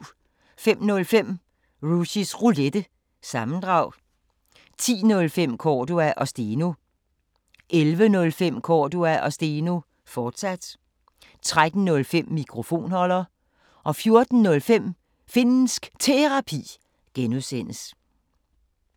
05:05: Rushys Roulette – sammendrag 10:05: Cordua & Steno 11:05: Cordua & Steno, fortsat 13:05: Mikrofonholder 14:05: Finnsk Terapi (G)